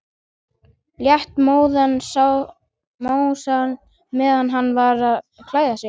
Lét móðan mása meðan hann var að klæða sig.